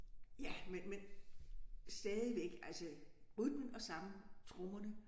Ja men men stadigvæk altså rytmen og sangene trommerne